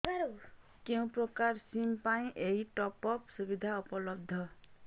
କେଉଁ ପ୍ରକାର ସିମ୍ ପାଇଁ ଏଇ ଟପ୍ଅପ୍ ସୁବିଧା ଉପଲବ୍ଧ